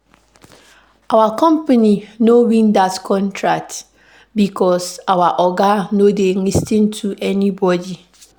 Our company no win dat contract because our oga no dey lis ten to anybodi.